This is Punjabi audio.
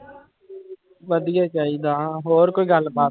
ਵਧੀਆ ਚਾਹੀਦਾ ਹੋਰ ਕੋਈ ਗੱਲਬਾਤ।